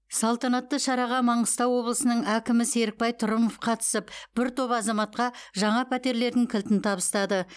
салтанатты шараға маңғыстау облысының әкімі серікбай трұмов қатысып бір топ азаматқа жаңа пәтерлердің кілтін табыстады